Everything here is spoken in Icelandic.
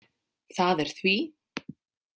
Það er því.